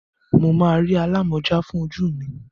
Mo máa rí alámọ̀já fún ojú mi.